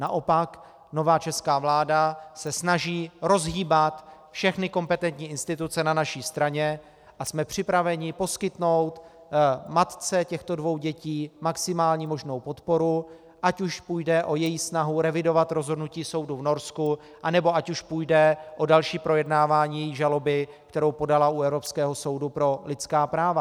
Naopak nová česká vláda se snaží rozhýbat všechny kompetentní instituce na naší straně a jsme připraveni poskytnout matce těchto dvou dětí maximální možnou podporu, ať už půjde o její snahu revidovat rozhodnutí soudu v Norsku, nebo ať už půjde o další projednávání její žaloby, kterou podala u Evropského soudu pro lidská práva.